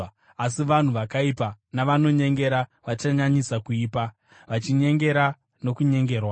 asi vanhu vakaipa navanonyengera vachanyanyisa kuipa, vachinyengera nokunyengerwa.